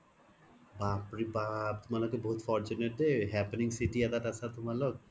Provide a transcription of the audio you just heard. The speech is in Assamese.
বাপ ৰে বাপ তুমালোকে বহুত fortune দেই happening city এটাত আছা তুমালোক